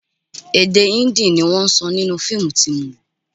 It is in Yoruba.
Èdè Hindi ni wọ́n sọ nínú fíìmù tí mo wò